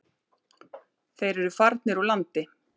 Þeir eru farnir úr landi.